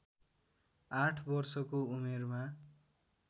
आठ वर्षको उमेरमा